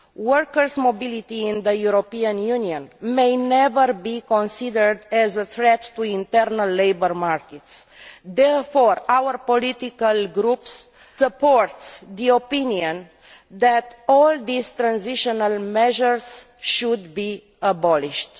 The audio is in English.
Workers' mobility in the European Union should never be considered a threat to the internal labour market. Therefore, our political groups support the opinion that all these transitional measures should be abolished.